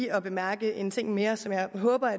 at bemærke en ting mere som jeg håber